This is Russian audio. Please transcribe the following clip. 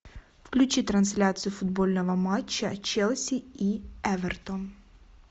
включи трансляцию футбольного матча челси и эвертон